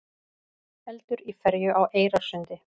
Eldur í ferju á Eyrarsundi